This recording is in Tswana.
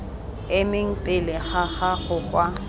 emeng pele ga gago kwa